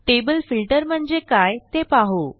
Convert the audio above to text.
table filter म्हणजे काय ते पाहू